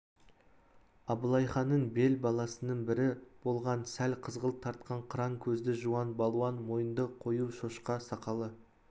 абылайханның бел баласының бірі болған сәл қызғылт тартқан қыран көзді жуан балуан мойынды қою шоқша сақалы